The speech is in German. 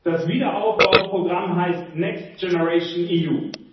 Das Wiederaufbauprogramm heißt Next Generation EU